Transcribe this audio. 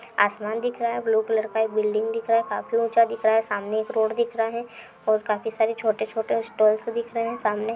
आसमान दिख रहा है ब्लू कलर का एक बिल्डिंग दिख रहा है काफी ऊंचा दिख रहा है सामने एक रोड़ दिख रहा है और काफी सारे छोटे छोटे स्टॉल्स दिख रहे हैं सामने |